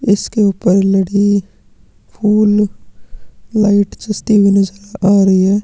इसके ऊपर लड़ी फूल लाइट जचती हुई नजर आ रही है।